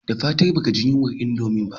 Da fatan baka jin yunwar indomie